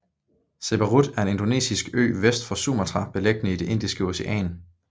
Siberut er en indonesisk ø vest for Sumatra beliggende i det Indiske Ocean